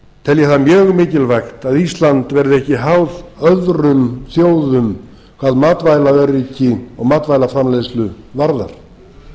telja það mjög mikilvægt að ísland verði ekki háð öðrum þjóðum hvað matvælaöryggi og matvælaframleiðslu varðar